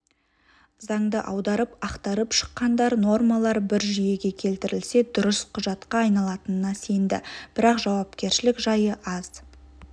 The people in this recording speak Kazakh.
заңды аударып ақтарып шыққандар нормалар бір жүйеге келтірілсе дұрыс құжатқа айналатынына сенді бірақ жауапкершілік жайы аз